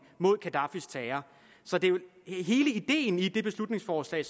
mod gaddafis terror så det er jo hele ideen i det beslutningsforslag